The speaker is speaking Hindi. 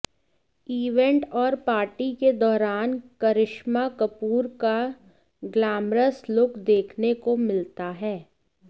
इवेंट और पार्टी के दौरान करिश्मा कपूर का ग्लैमरस लुक देखने को मिलता है